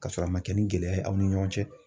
Ka sɔrɔ a ma kɛ ni gɛlɛya ye aw ni ɲɔgɔn cɛ